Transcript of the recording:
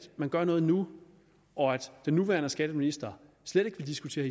man gør noget nu og at den nuværende skatteminister slet ikke vil diskutere